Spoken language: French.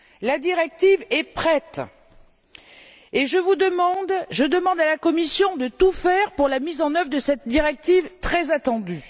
La directive est prête et je demande à la Commission de tout faire pour la mise en œuvre de cette directive très attendue.